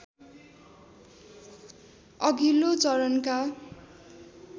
अघिल्लो चरणका